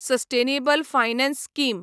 sustainable finance scheme